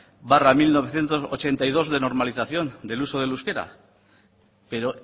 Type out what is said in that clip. barra mil novecientos ochenta y dos de normalización del uso del euskera pero